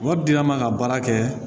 Mɔgɔ dila man ka baara kɛ